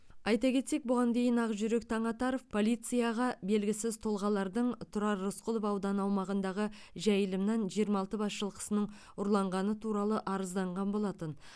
айта кетсек бұған дейін ақжүрек таңатаров полицияға белгісіз тұлғалардың тұрар рысқұлов ауданы аумағындағы жайылымнан жиырма алты бас жылқысының ұрланғаны туралы арызданған болатын